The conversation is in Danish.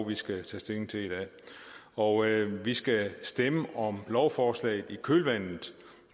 vi skal tage stilling til i dag og vi skal stemme om lovforslagene i kølvandet